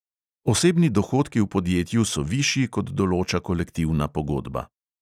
Osebni dohodki v podjetju so višji, kot določa kolektivna pogodba.